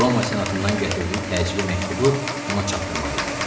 Roma senatından gətirdiyi təcili məktubu ona çatdırmalı idi.